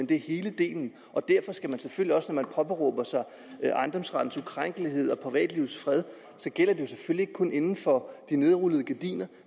det hele derfor skal det selvfølgelig også man påberåber sig ejendomsrettens ukrænkelighed og privatlivets fred at det ikke kun gælder inden for de nedrullede gardiner